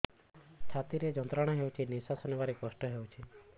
ଛାତି ରେ ଯନ୍ତ୍ରଣା ହଉଛି ନିଶ୍ୱାସ ନେବାରେ କଷ୍ଟ ହଉଛି